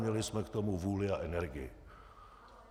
Měli jsme k tomu vůli a energii.